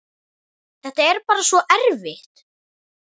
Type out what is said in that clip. Þetta er bara svo erfitt.